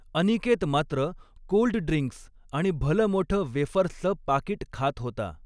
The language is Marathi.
अनिकेत मात्र कोल्डड्रिंक्स आणि भलमोठं वेफर्सच पाकीट खात होता.